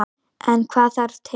En hvað þarf til.